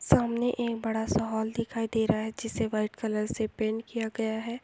सामने एक बड़ा सा हॉल दिखाई दे रहा है जिसे व्हाइट कलर से पैंट किया गया है।